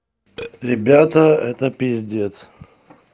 ребята это пиздец